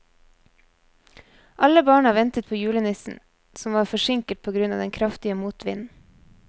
Alle barna ventet på julenissen, som var forsinket på grunn av den kraftige motvinden.